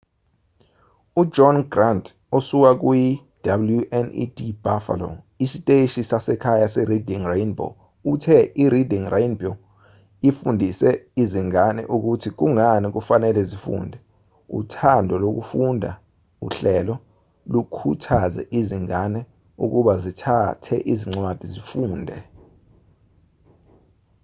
ujohn grant osuka kuyi-wned buffalo isiteshi sasekhaya sereading rainbow uthe ireading rainbow ifundise izingane ukuthi kungani kufanele zifunde, uthando lokufunda — [uhlelo] lukhuthaze izingane ukuba zithathe incwadi zifunde.